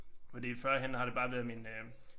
Hvor det førhen har det bare været min øh